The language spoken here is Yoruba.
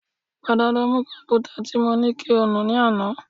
Padà lọ nu kọ̀m̀pútà tí mo ní kí o nù ní àná